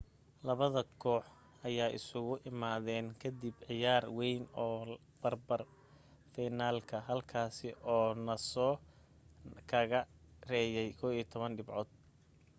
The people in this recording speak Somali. labada koox ayaa isugu imaadeen ka dib ciyaar wayn oo barka finalka halkaasi uu noosa kaga reeyay 11 dhibcood